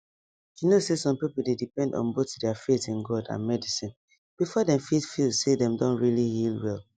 you know say some people dey depend on both their faith in god and medicine before dem fit feel say dem don really heal well